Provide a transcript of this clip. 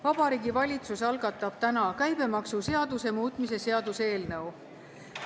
Vabariigi Valitsus algatab täna käibemaksuseaduse muutmise seaduse eelnõu.